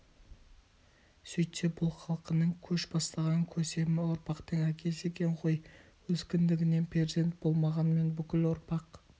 сөйтсе бұл халқының көш бастаған көсемі ұрпақтың әкесі екен ғой өз кіндігінен перзент болмағанмен бүкіл ұрпақ